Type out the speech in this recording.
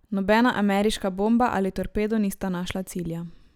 Nobena ameriška bomba ali torpedo nista našla cilja.